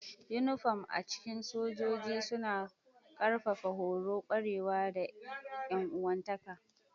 Uniform a cikin sojoji suna ƙarfafa horo, ƙwarewa, da 'yan uwantaka.